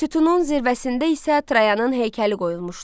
Sütunun zirvəsində isə Trayanın heykəli qoyulmuşdu.